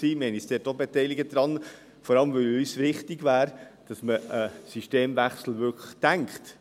Wir haben uns auch daran beteiligt, vor allem, weil uns wichtig war, dass man einen Systemwechsel wirklich denkt.